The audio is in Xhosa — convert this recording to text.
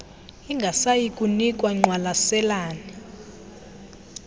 ingasayi kunikwa ngqwalaselane